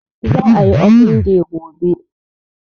Za a yi open day gobe